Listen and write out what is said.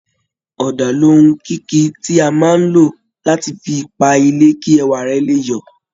Ọ̀dà ni ohun kíkí tí a máa ń lò láti fi pa ilé kí ẹwà rẹ̀ lè yọ